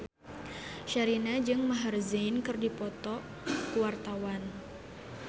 Sherina jeung Maher Zein keur dipoto ku wartawan